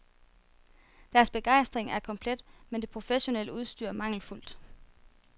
Deres begejstring er komplet, men det professionelle udstyr mangelfuldt.